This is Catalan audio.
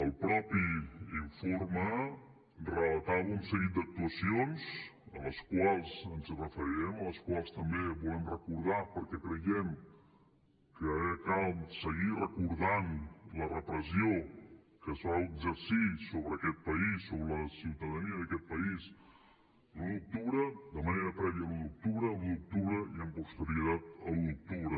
el mateix informe relatava un seguit d’actuacions a les quals ens referirem les quals també volem recordar perquè creiem que cal seguir recordant la repressió que es va exercir sobre aquest país sobre la ciutadania d’aquest país l’un d’octubre de manera prèvia a l’un d’octubre l’un d’octubre i amb posterioritat a l’un d’octubre